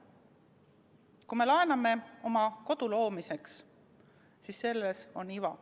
Kui me laename oma kodu loomiseks, siis selles on iva.